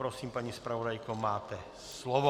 Prosím, paní zpravodajko, máte slovo.